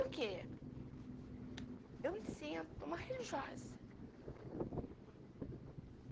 porque eu me sinto uma religiosa.